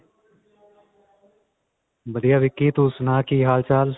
ਵਧੀਆ ਵਿਕੀ, ਤੂੰ ਸੁਨਾ ਕੀ ਹਾਲ-ਚਾਲ?